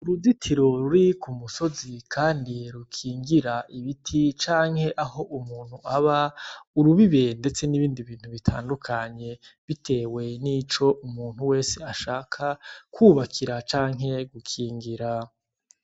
Uruditiro ruri ku musozi, kandi rukingira ibiti canke aho umuntu aba urubibe, ndetse n'ibindi bintu bitandukanye, bitewe n'ico umuntu wese ashaka kwubakira canke gukingira.